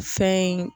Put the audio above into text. Fɛn in